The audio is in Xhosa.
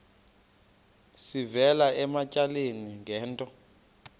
sivela ematyaleni ngento